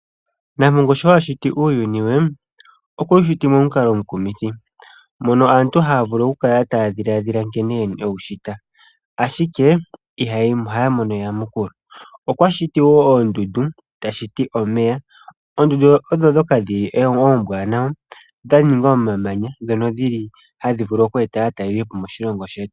Nampongo sho ashiti uuyuni we okwe wu shiti momukalo omukumithi. Aantu ohaya vulu oku kala taya dhiladhila ngene ewu shita ashike ihaya mono eyamukulu. Okwashiti oondundu eta shiti omeya. Oondundu odho ndhoka oombwanawa dhaninga omamanya hadhi vulu oku eta aatalelipo moshilongo shetu.